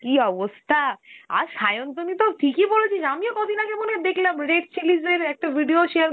কি অবস্থা! আর স্যান্তানিতো ঠিকই বলেছিস, আমিও কদিন আগে মনে হয় দেখলাম Red Chillies এর একটা video share